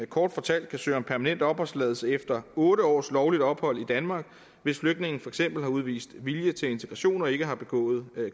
kort fortalt kan søge om permanent opholdstilladelse efter otte års lovligt ophold i danmark hvis flygtningen for eksempel har udvist vilje til integration og ikke har begået